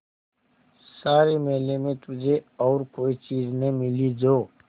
सारे मेले में तुझे और कोई चीज़ न मिली जो